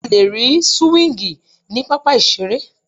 A lè rí súwíngì ní pápá ìseré